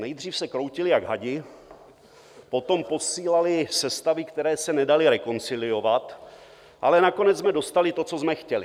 Nejdřív se kroutili jak hadi, potom posílali sestavy, které se nedaly rekonciliovat, ale nakonec jsme dostali to, co jsme chtěli.